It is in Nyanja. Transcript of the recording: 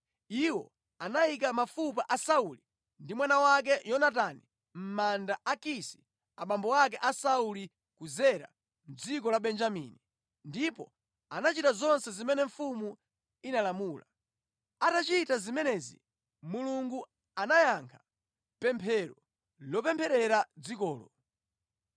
Iwo anayika mafupa a Sauli ndi mwana wake Yonatani mʼmanda a Kisi abambo ake a Sauli ku Zera mʼdziko la Benjamini, ndipo anachita zonse zimene mfumu inalamula. Atachita zimenezi, Mulungu anayankha pemphero lopempherera dzikolo.